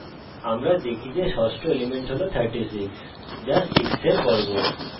আমরা দেখি যে ষষ্ঠ element হল 36 যা 6 we বর্গ